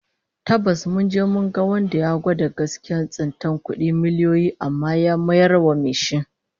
Tabbas, mun je mu ga wanda ya gwada gaskiyar tsintar kudi miliyoyi amma ya mayar wa mai shi